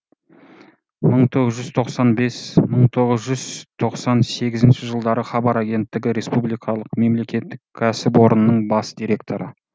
бір мың тоғыз жүз тоқсан бесінші бір мың тоғыз жүз тоқсан сегізінші жылдары хабар агенттігі республикалық мемлекеттік кәсіпорнының бас директоры